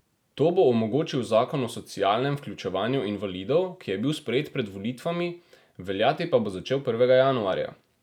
To bo omogočil zakon o socialnem vključevanju invalidov, ki je bil sprejet pred volitvami, veljati pa bo začel prvega januarja.